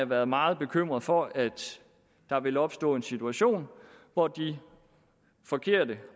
været meget bekymrede for at der vil opstå en situation hvor de forkerte